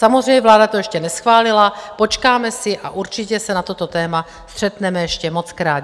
Samozřejmě vláda to ještě neschválila, počkáme si a určitě se na toto téma střetneme ještě mockrát.